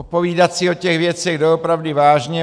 Popovídat si o těch věcech doopravdy vážně.